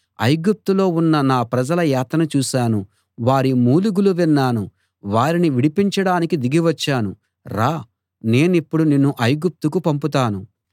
ఐగుప్తులో ఉన్న నా ప్రజల యాతన చూశాను వారి మూలుగులు విన్నాను వారిని విడిపించడానికి దిగి వచ్చాను రా నేనిప్పుడు నిన్ను ఐగుప్తుకు పంపుతాను